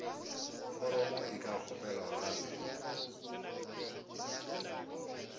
foromo e ka kgopelwa gape